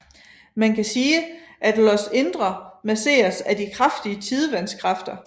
Man kan sige at Ios indre masseres af de kraftige tidevandskræfter